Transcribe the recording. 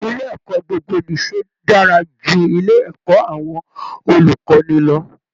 Ilé ẹ̀kọ́ gbogbo-nìṣe dára ju ilé ẹ̀kọ́ àwọn olùkọ́ni lọ